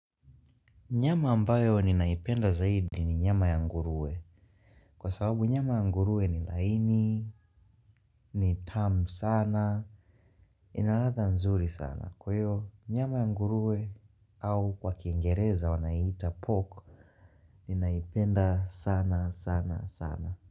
Nyama ambayo ninaipenda zaidi ni nyama ya ngurue. Kwa sababu nyama ya ngurue ni laini, ni tamu sana, inaladha nzuri sana. Kwahiyo nyama ya ngurue au kwa kiengereza wanaita pork ninaipenda sana sana sana.